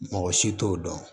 Mɔgɔ si t'o dɔn